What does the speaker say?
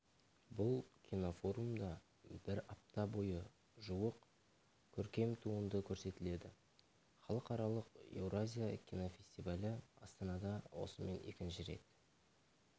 бұл кинофорумда бір апта бойы жуық көркем туынды көрсетіледі халықаралық еуразия кинофестивалі астанада осымен екінші рет